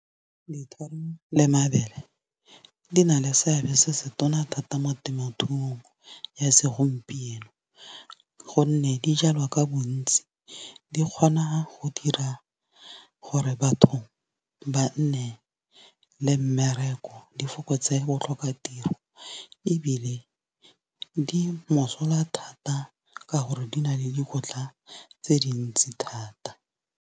Dithoro le mabele di na le seabe se se tona thata mo temothuong ya segompieno. Gonne di jalwa ka bontsi di kgona go dira gore batho ba nne le mmereko. Di fokotse botlhoka tiro ebile di mosola thata ka gore di na le dikotla tse dintsi thata.